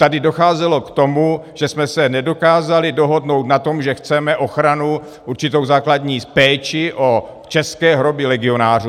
Tady docházelo k tomu, že jsme se nedokázali dohodnout na tom, že chceme ochranu, určitou základní péči o české hroby legionářů.